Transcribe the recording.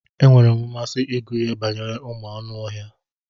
E nwere mmasị ịgụ ihe banyere ụmụ anụ ọhịa.